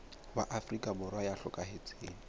wa afrika borwa ya hlokahetseng